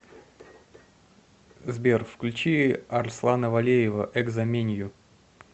сбер включи арслана валеева экзо менью